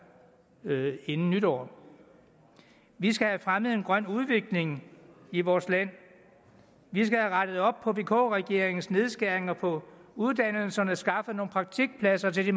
inden nytår vi skal have fremmet en grøn udvikling i vores land vi skal have rettet op på vk regeringens nedskæringer på uddannelserne og skaffet nogle praktikpladser til de